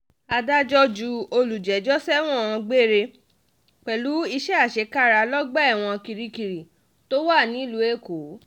adájọ́ ju olùjẹ́jọ́ sẹ́wọ̀n gbére pẹ̀lú iṣẹ́ àṣekára lọ́gbà ẹ̀wọ̀n kirikiri tó wà nílùú èkó